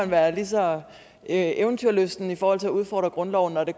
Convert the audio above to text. være lige så eventyrlysten i forhold til at udfordre grundloven når det